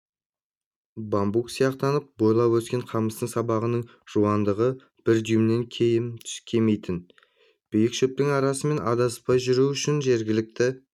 бамбук сияқтанып бойлап өскен қамыстың сабағының жуандығы бір дюймнен кем келмейтін биік шөптің арасымен адаспай жүру үшін жергілікті